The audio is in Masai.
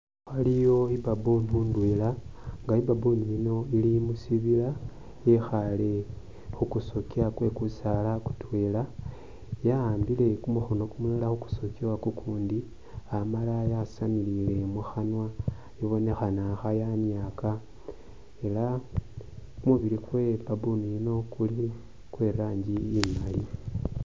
Waliyo i'baboon ndwela, nga i'baboon yino ili musibila yikhaale khu kusokya kwe kusaala kutwela ya'ambile kumukhono kumulala khu ku sokya kukundi amala yasamile mukhanwa ibonekhana kha yaniaaka era kumubili kwe i'baboon yino kuli kwe rangi imali.